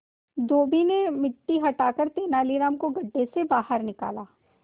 धोबी ने मिट्टी हटाकर तेनालीराम को गड्ढे से बाहर निकाला